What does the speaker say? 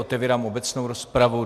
Otevírám obecnou rozpravu.